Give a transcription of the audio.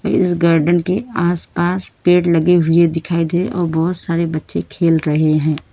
इस गार्डन के आसपास पेड़ लगे हुए दिखाई दे और बहुत सारे बच्चे खेल रहे हैं।